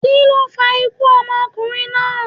kíló fa ikú ọmọkunrin naa?